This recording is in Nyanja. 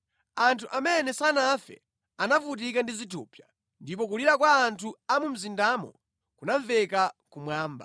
Anthu amene sanafe anavutika ndi zithupsa, ndipo kulira kwa anthu a mu mzindamo kunamveka kumwamba.